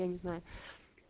я не знаю